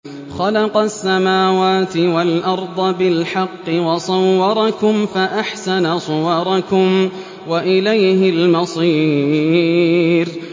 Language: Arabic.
خَلَقَ السَّمَاوَاتِ وَالْأَرْضَ بِالْحَقِّ وَصَوَّرَكُمْ فَأَحْسَنَ صُوَرَكُمْ ۖ وَإِلَيْهِ الْمَصِيرُ